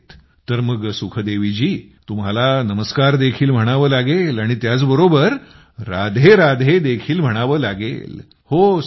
मथुरा मध्ये मग तर सुखदेवीजी तुम्हाला नमस्कार देखील म्हणावं लागेल आणि त्याच बरोबर राधेराधे देखील म्हणावं लागेल